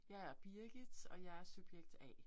Jeg er Birgit, og jeg er subjekt A